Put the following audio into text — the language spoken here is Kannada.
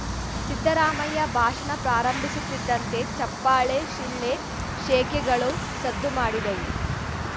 ಸಿದ್ದರಾಮಯ್ಯ ಭಾಷಣ ಪ್ರಾರಂಭಿಸುತ್ತಿದ್ದಂತೆ ಚಪ್ಪಾಳೆ ಶಿಳ್ಳೆ ಶೇಕೆಗಳು ಸದ್ದು ಮಾಡಿದವು